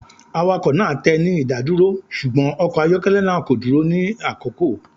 Awakọ naa tẹ ni idaduro, ṣugbọn ọkọ ayọkẹlẹ naa ko duro ni akoko.